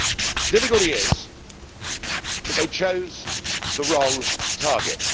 The difficulty is that they chose the wrong target.